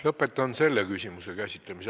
Lõpetan selle küsimuse käsitlemise.